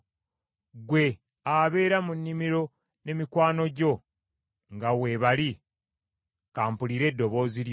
Ggwe abeera mu nnimiro ne mikwano gyo nga weebali, ka mpulire eddoboozi lyo.